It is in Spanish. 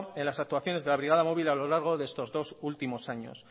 en las actuaciones de la brigada móvil a lo largo de estos dos últimos años